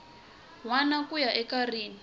wana ku ya eka rin